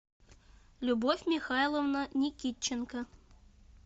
любовь михайловна никитченко